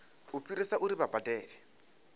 u fhirisa uri vha badele